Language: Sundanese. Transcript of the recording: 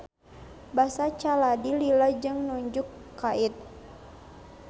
Basa caladi lila jeung nunjuk kait.